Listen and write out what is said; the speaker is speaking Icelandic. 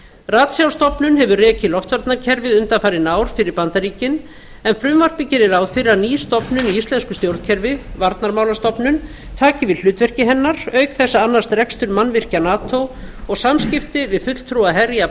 ratsjárstofnun hefur rekið loftvarnakerfið undanfarin ár fyrir bandaríkin en frumvarpið gerir ráð fyrir að ný stofnun í íslensku stjórnkerfi varnarmálastofnun taki við hlutverki hennar auk þess að annast rekstur mannvirkja nato og samskipti við fulltrúa herja